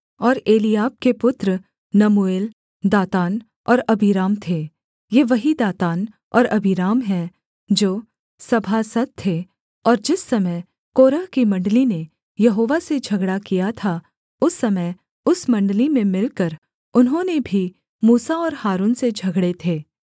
और एलीआब के पुत्र नमूएल दातान और अबीराम थे ये वही दातान और अबीराम हैं जो सभासद थे और जिस समय कोरह की मण्डली ने यहोवा से झगड़ा किया था उस समय उस मण्डली में मिलकर उन्होंने भी मूसा और हारून से झगड़े थे